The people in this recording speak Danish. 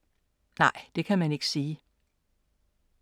Nej, det kan man ikke sige.